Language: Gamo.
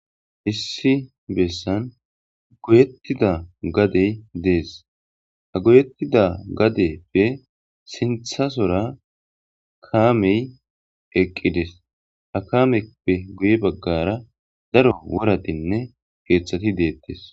Issi besan goyetida gadey Des ha goyetida gadeyippe sinthasora kammey eqqides hame PPE guye bagara daro woratinne kethati dettes.